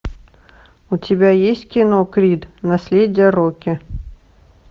у тебя есть кино крид наследие рокки